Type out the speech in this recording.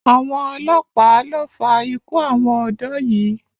Àwọn ọlọ́pàá lo fa ikú àwọn ọ̀dọ́ yìí.